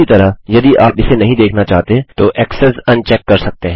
उसी तरह यदि आप इसे नहीं देखना चाहते तो ऐक्सेस अन चेक कर सकते हैं